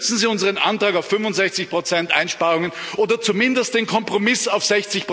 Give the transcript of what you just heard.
Unterstützen Sie unseren Antrag auf 65 Einsparungen oder zumindest den Kompromiss auf 60